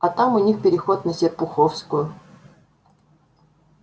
а там у них переход на серпуховскую